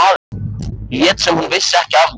Lét sem hún vissi ekki af mér.